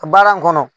Baara in kɔnɔ